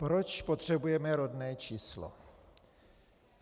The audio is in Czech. Proč potřebujeme rodné číslo?